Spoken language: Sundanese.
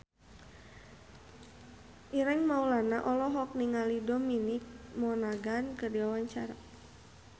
Ireng Maulana olohok ningali Dominic Monaghan keur diwawancara